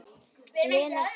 Lena sem kallar.